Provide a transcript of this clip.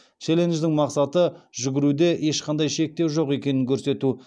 челлендждің мақсаты жүгіруде ешқандай шектеу жоқ екенін көрсету